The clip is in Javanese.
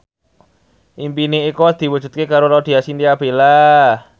impine Eko diwujudke karo Laudya Chintya Bella